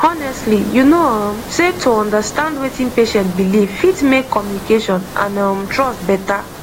honestly you know um sey to understand wetin patient believe fit make communication and um trust better